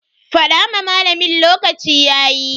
Fada ma malamin lokaci yayi.